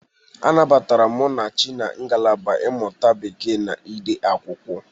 A nabatara Munachi na ngalaba mmụta Bekee na ide akwụkwọ.